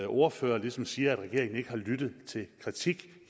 ordfører ligesom siger at regeringen ikke har lyttet til kritik